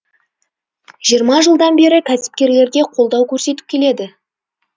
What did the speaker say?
жиырма жылдан бері кәсіпкерлерге қолдау көрсетіп келеді